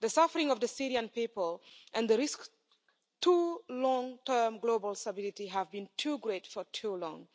The suffering of the Syrian people and the risk to long term global stability have been too great for too long.